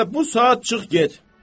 Elə bu saat çıx get.